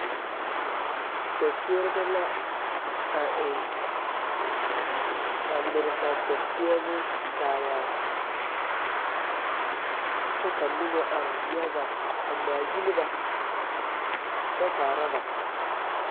Seɛseɛrebɛ la a eŋ a tore ba seɛseɛ bon kaayaa kyɛ ka noba are yaga a ŋmaa gyile ba a kyɛ kaara ba